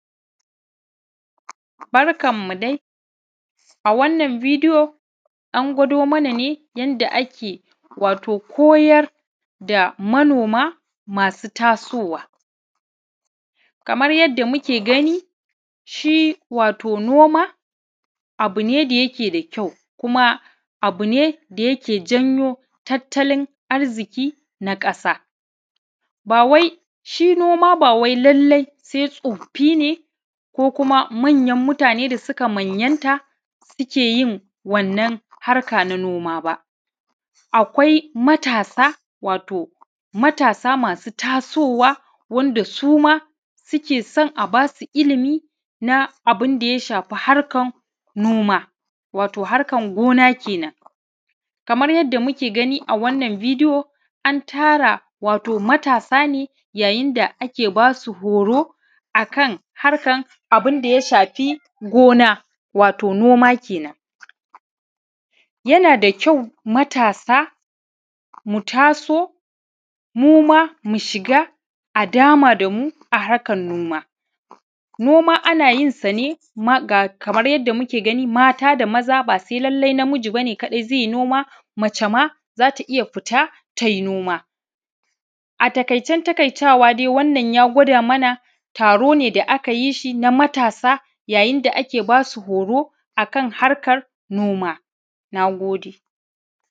Baranmu dai, a wannan bidiyo an ɡwaːdo mana nɛ yanda akɛ wato koyaːr da manoma masu tasoːwa, kamar yanda mukɛ ɡani, shi wato noma abu nɛ da yakɛ da kyaːu, kuma abu nɛ da yakɛ janyo tattalin arziki na ƙaːsa. Shi noma ba wai lallai sɛ tsofi ne ko kuma manyan mutanɛ da suka manyanta sukɛ yin wanna harka na noma ba. Akwai matasa, wato matasa masu tasoːwa, wanda suma sukɛ son a basu ilimi na abun da ya shafi harkan noma wato harkan ɡona kɛːnan. Kamaːr yanda mukɛ ɡani, wato a wannan bidiyo an tara wato matasa nɛ, yayin da akɛ basu horo akan harkan abunda ya shafi ɡona wato noma, kaman yana da kyaːwu matasa mu taso muma a shiɡa, a dama damu a harkan noma. Noma ana yin sa nɛ ma, kamar yanda mukɛ ɡani, mata da maza, ba llaːlai na miji ba nɛ zɛ yi noma, mace ma za ta iya fita ta yi noma. A taƙaːicɛn taƙaːitawa dai, wannan ya ɡwaːda mana taro nɛ da aka yiː shi na matasa, yayin da akɛ ba su horo akan harkan noma. Na ɡodɛ.